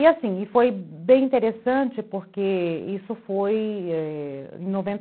E assim, foi bem interessante porque isso foi é... em noven